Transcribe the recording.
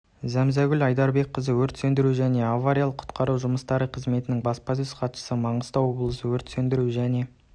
зәмзәгүл айдарбекқызы өрт сөндіру және авариялық құтқару жұмыстары қызметінің баспасөз хатшысы маңғыстау облысы өрт сөндіру және